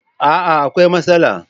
A'a! akwai matsala.